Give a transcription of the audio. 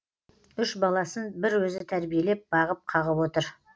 үш баласын бір өзі тәрбиелеп бағып қағып отыр